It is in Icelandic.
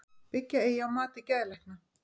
Byggja eigi á mati geðlækna